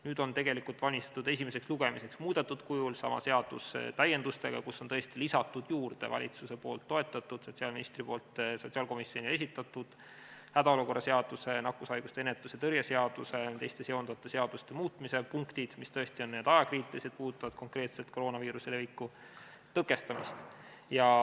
Nüüd on valmistatud esimeseks lugemiseks ette sama seadus täiendustega, muudetud kujul, kuhu on tõesti lisatud juurde valitsuse poolt toetatud ja sotsiaalministri poolt sotsiaalkomisjonile esitatud hädaolukorra seaduse, nakkushaiguste ennetamise ja tõrje seaduse ja teiste seonduvate seaduste muutmise punktid, mis on ajakriitilised ja puudutavad konkreetselt koroonaviiruse leviku tõkestamist.